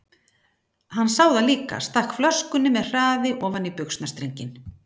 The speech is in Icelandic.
Hann sá það líka, stakk flöskunni með hraði ofan í buxnastrenginn.